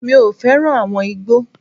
Mi ò fẹ́ràn àwọn igbó.